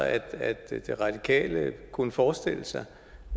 at de radikale kunne forestille sig